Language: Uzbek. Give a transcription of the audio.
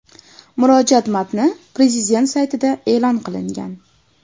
Murojaat matni prezident saytida e’lon qilingan .